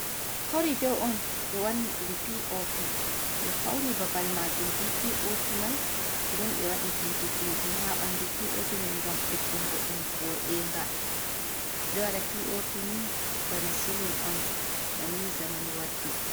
Kori ɗo on be wanni ɗum piopi ɓe fauni babal majum ɓe Piopi mai ɗen be wadi didi - didi ha banɗu piopi mai gam ɓeddungo ɗum vodega, ɓeɗo wada piopi ni bana silin on banni zamanu waddi.